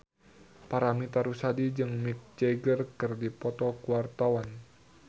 Paramitha Rusady jeung Mick Jagger keur dipoto ku wartawan